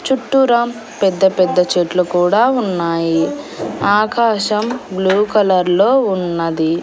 చుట్టూరా పెద్ద పెద్ద చెట్లు కూడా ఉన్నాయి ఆకాశం బ్లూ కలర్లో ఉన్నది.